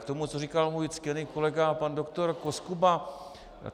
K tomu, co říkal můj ctěný kolega pan doktor Koskuba.